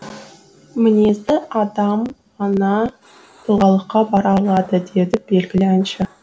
мінезді адам ғана тұлғалыққа бара алады деді белгілі әнші